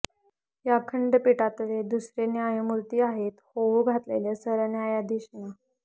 या खंडपीठातले दुसरे न्यायमूर्ती आहेत होऊ घातलेले सरन्यायाधीश न्या